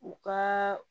U ka